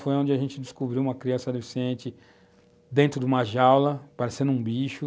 Foi onde a gente descobriu uma criança deficiente dentro de uma jaula, parecendo um bicho.